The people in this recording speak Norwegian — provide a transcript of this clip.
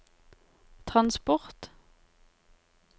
transport